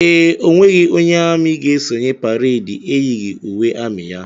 Ee, onweghi onye amị ga esonye pareedi eyighi uwe amị ya.